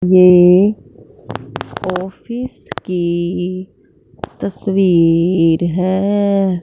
ये ऑफिस की तस्वीर है।